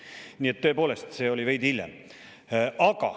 Nii et tõepoolest, see oli veidi hiljem.